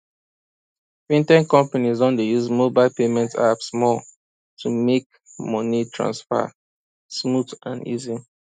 fintech companies don dey use mobile payment apps more to make money transfer smooth and easy